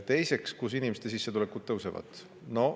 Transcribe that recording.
Teiseks, kuidas tõusevad inimeste sissetulekud.